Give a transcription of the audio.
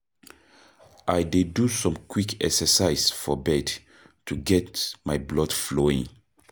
I dey do some quick exercises for bed to get my blood flowing.